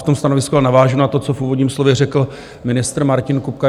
V tom stanovisku navážu na to, co v úvodním slově řekl ministr Martin Kupka.